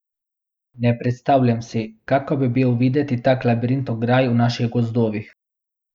Ne predstavljam si, kako bi bil videti tak labirint ograj v naših gozdovih.